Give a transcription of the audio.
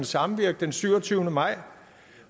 samvirke den syvogtyvende maj